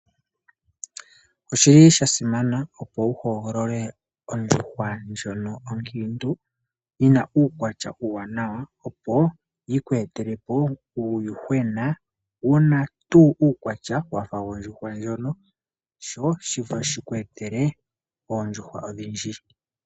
Oshili sha simana opo wu hogolole ondjuhwa ndjono onkiintu yina uukwatya uuwanawa opo yi ku etele po uuyuhwena wu na tuu uukwatya naana wafa wondjuhwa mbyono opo shino tashi kweetele oondjuhwa ondhindji.